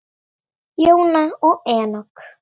Jóna og Enok.